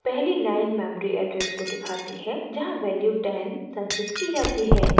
पहली line memory address को दिखाती है जहाँ वैल्यू 10 संचित की जाती है